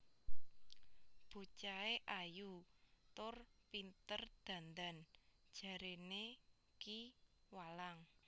Bocahe ayu tur pinter dandan jaréné Ki Walang